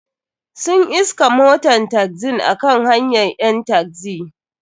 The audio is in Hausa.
Sun iskan moton taxin a kan hanyan ƴan taxi.